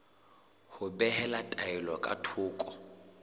ho behela taelo ka thoko